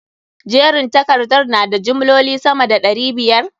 Jerin takardar na da jimloli sama da ɗari biyar?